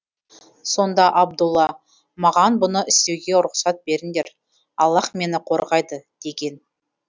сонда абдұлла маған бұны істеуге рұқсат беріндер аллаһ мені қорғайды деген